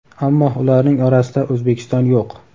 Ammo ularning orasida O‘zbekiston yo‘q.